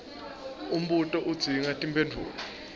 umbuto udzinga timphendvulo